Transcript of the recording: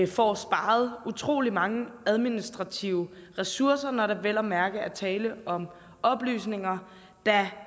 får sparet utrolig mange administrative ressourcer når der vel at mærke er tale om oplysninger der